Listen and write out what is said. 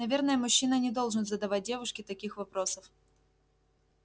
наверное мужчина не должен задавать девушке таких вопросов